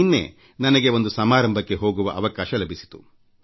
ನಿನ್ನೆ ನನಗೆ ಒಂದು ಸಮಾರಂಭಕ್ಕೆ ಹೋಗುವ ಅವಕಾಶ ಲಭಿಸಿತ್ತು